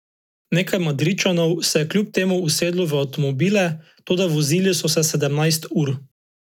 Nekaj Madridčanov se je kljub temu usedlo v avtomobile, toda vozili so se sedemnajst ur.